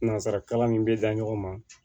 Nanzara kalan min bɛ da ɲɔgɔn ma